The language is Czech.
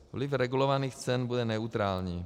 Vliv regulovaných cen bude neutrální.